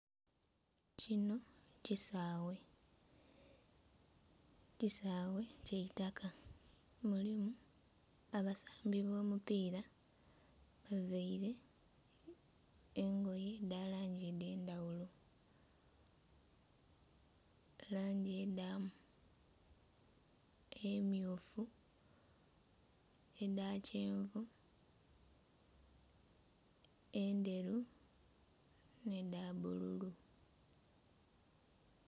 Kinho kisaghe, kisaghe kya itaka mulimu abasambi b'omupiira bavaire engoye edha langi edh'endhaghulo, langi edha emmyufu, edha kyenvu, endheru nh'edha bbululu.